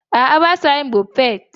A'a, ba sa yin Buffet.